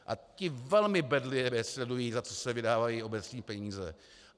A ti velmi bedlivě sledují, za co se vydávají obecní peníze.